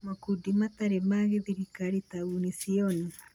Makundi matarĩ ma gĩthirikari ta Unision